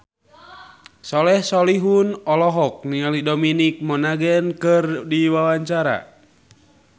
Soleh Solihun olohok ningali Dominic Monaghan keur diwawancara